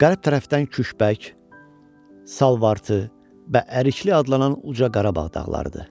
Qərb tərəfdən Küküşbək, Salvartı və Ərikli adlanan uca Qarabağ dağlarıdır.